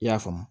I y'a faamu